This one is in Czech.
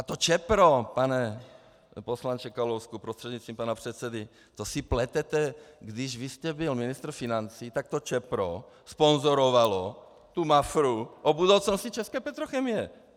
A to Čepro, pane poslanče Kalousku prostřednictvím pana předsedy, to si pletete, když vy jste byl ministr financí, tak to Čepro sponzorovalo tu Mafru o budoucnosti české petrochemie.